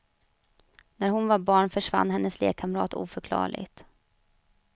När hon var barn försvann hennes lekkamrat oförklarligt.